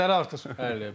İş şeyləri artırır.